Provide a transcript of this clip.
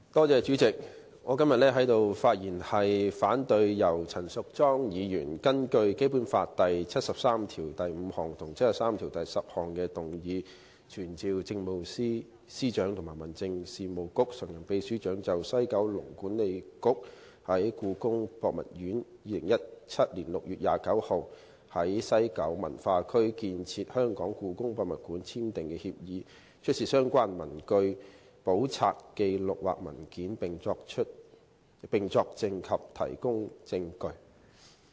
主席，我今天在此發言反對陳淑莊議員根據《基本法》第七十三條第五項及第七十三條第十項動議的議案，要求傳召政務司司長及民政事務局常任秘書長就西九文化區管理局與故宮博物院於2017年6月29日就在西九文化區興建香港故宮文化博物館簽訂合作協議的事宜，出示所有相關的文據、簿冊、紀錄或文件，並作證及提供證據。